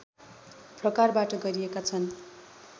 प्रकारबाट गरिएका छन्